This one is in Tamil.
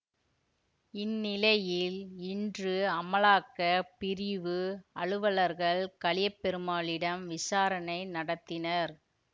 இந்நிலையில் இன்று அமலாக்க பிரிவு அலுவலர்கள் கலியபெருமாளிடம் விசாரணை நடத்தினர்